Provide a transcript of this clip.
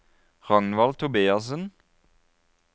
Ragnvald Tobiassen